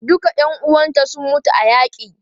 Duka ƴan uwanta sun mutu a yaƙi.